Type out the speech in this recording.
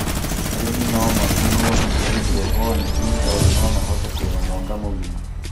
Arĩmi no magunũo nĩ Haindorobonĩki nĩ tondũ no mahote kũrĩma mũaka mũgima